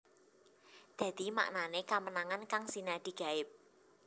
Dadi maknané kamenangan kang sinadhi gaib